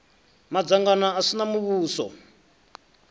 madzangano a si a muvhuso